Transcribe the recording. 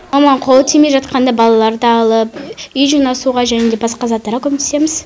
маманың қолы тимей жатқанда балаларды алып үй жинасуға және де басқа заттарға көмектесеміз